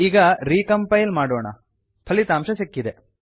ಈಗ recompile ಪುನಃ ಸಂಕಲನ ಮಾಡೋಣ ಫಲಿತಾಂಶ ಸಿಕ್ಕಿದೆ